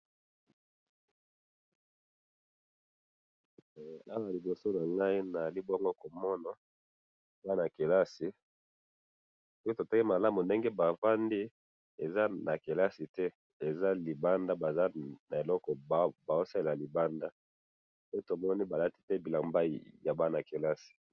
Tomoni bana kelasi ba fandi libanda pe bazosala eloko te.